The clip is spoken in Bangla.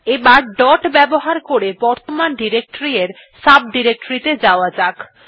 এবার ডট ব্যবহার করে বর্তমান ডিরেক্টরী এর সাব ডিরেক্টরী ত়ে যাওয়া যাক